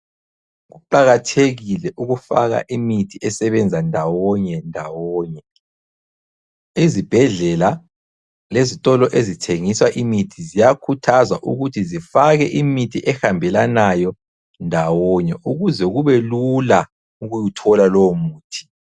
Kuqakathekile ukufaka imithi esebenza ndawonye ndawonye. Ezibhedlela lezitolo ezithengisa imithi ziyakhuthazwa ukuthi zifake imithi ehambelanayo ndawonye ukuze kube lula ukuwuthola lowo muthi.